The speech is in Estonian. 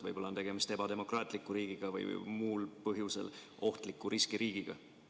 Võib-olla on tegemist ebademokraatliku riigiga või muul põhjusel ohtliku riskiriigiga?